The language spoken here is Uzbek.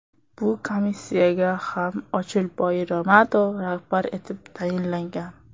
Bu komissiyaga ham Ochilboy Ramatov rahbar etib tayinlangan .